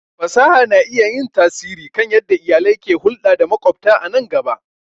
Fasaha na iya yin tasiri kan yadda iyalai ke hulɗa da maƙwabta a nan gaba.